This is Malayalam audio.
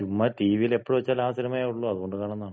ചുമ്മാ ടിവിയിലെപ്പൊ വച്ചാലും ആ സിനിമയെ ഒള്ളൂ. അത് കൊണ്ട് കാണുന്നതാണ്.